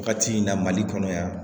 Wagati in na mali kɔnɔ yan